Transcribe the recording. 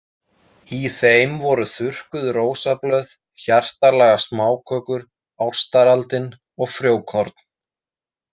Í þeim voru þurrkuð rósablöð, hjartalaga smákökur, ástaraldin og frjókorn.